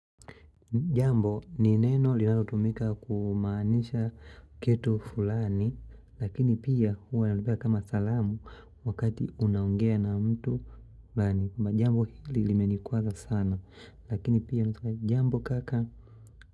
Jambo ni neno linalotumika kumaanisha kitu fulani. Lakini pia huwa nalipia kama salamu wakati unaongea na mtu fulani. Jambo hili limenikwaza sana Lakini pia unaweza kusema hivi, jambo kaka.